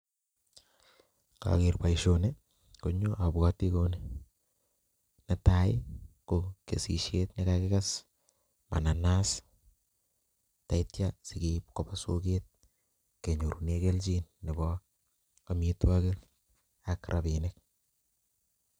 Ng'ager boisoni, um abwoti kouni. Netai, ko kesishiet nekagikes mananas, tatia sikeib koba soket, kenyorune kelchin nebo amitwogik, ak rabinik